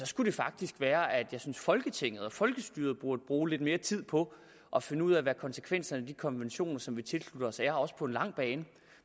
skulle det faktisk være at jeg synes at folketinget og folkestyret burde bruge lidt mere tid på at finde ud af hvad konsekvenserne af de konventioner som vi tilslutter os er også på den lange bane